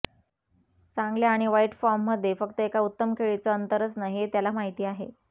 चांगल्या आणि वाईट फॉर्ममध्ये फक्त एका उत्तम खेळीचं अंतर असतं हे त्याला माहिती आहे